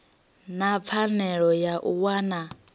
na pfanelo ya u wana